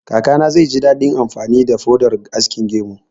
Kakana zai ji daɗin amfani da faudar askin gemu